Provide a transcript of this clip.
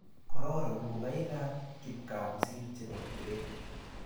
kororon ngokaikab kipgaa kosiir chebo gred